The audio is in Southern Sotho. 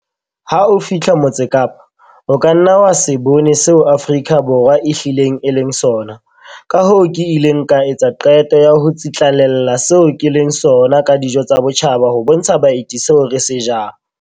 Ha o fihla Motse Kapa, o ka nna wa se bone seo Afrika Borwa e hlileng e leng sona, kahoo ke ile ka etsa qeto ya ho tsitlallela seo ke leng sona ka dijo tsa botjhaba ho bontsha baeti seo re se jang.